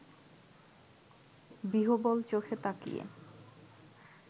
বিহ্বল-চোখে তাকিয়ে